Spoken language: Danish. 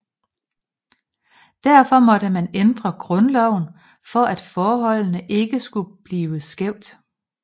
Derfor måtte man ændre grundloven for at forholdet ikke skulle blive skævt